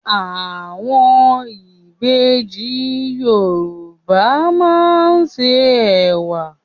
Àwọn ìbejì Yorùbá máa ń ṣe Ẹ̀wà.